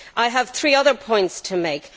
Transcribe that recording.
I have three other points to make.